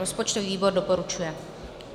Rozpočtový výbor doporučuje.